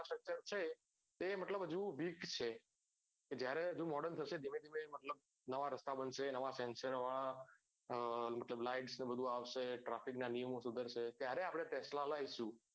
છે એ હજુ મતલબ weak છે એ જ્યારે હજુ modern થશે ધીમે ધીમે મતલબ નવા રસ્તા બનશે નવા sensor વાળા એ મતલબ lights ને બધું આવશે traffic ના નિયમો શુધરસે ત્યારે આપડે tesla લાવસુ